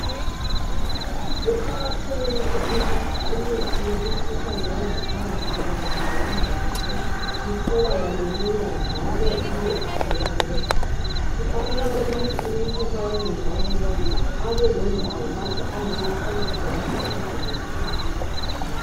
Kuqakathekile ukuthi imithi yemikhuhlane yangaphakathi Kanye leyomdlavuzo itholakale lula njalo ibe ithengeka kufanele ukuthi umuntu ma engezwa kuhle abelendawo lapho angayathola khona usizo ngeskhathi